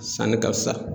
Sanni ka fisa